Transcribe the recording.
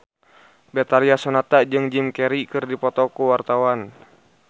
Betharia Sonata jeung Jim Carey keur dipoto ku wartawan